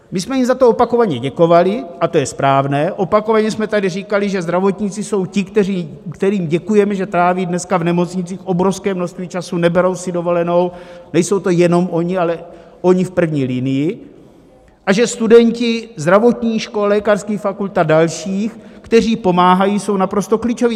My jsme jim za to opakovaně děkovali, a to je správné, opakovaně jsme tady říkali, že zdravotníci jsou ti, kterým děkujeme, že tráví dneska v nemocnicích obrovské množství času, neberou si dovolenou, nejsou to jenom oni, ale oni v první linii, a že studenti zdravotních škol, lékařských fakult a dalších, kteří pomáhají, jsou naprosto klíčoví.